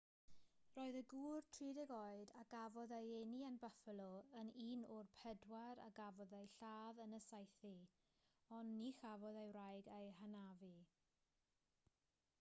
roedd y gŵr 30 oed a gafodd ei eni yn buffalo yn un o'r pedwar a gafodd eu lladd yn y saethu ond ni chafodd ei wraig ei hanafu